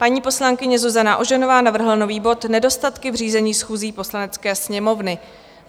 Paní poslankyně Zuzana Ožanová navrhla nový bod Nedostatky v řízení schůzí Poslanecké sněmovny.